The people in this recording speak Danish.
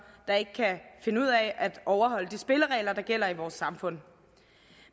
der ikke kan finde ud af at overholde de spilleregler der gælder i vores samfund